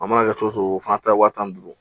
A mana kɛ cogo o cogo o fana ta wa tan ni duuru